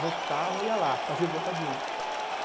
Votava, ia lá, fazer boca de urna.